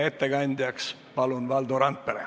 Ettekandjaks palun Valdo Randpere.